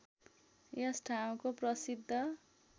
यस ठाउँको प्रसिद्ध